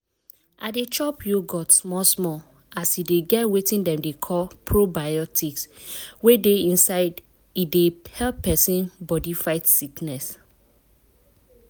i dey chop yogurt small small as e get wetin dem dey call probiotics wey dey inside e dey help persin body fight sickness.